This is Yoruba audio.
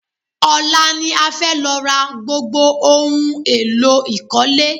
Ọ̀la ni a fẹ́ lọ ra gbogbo ohun èlò ìkọ́lé.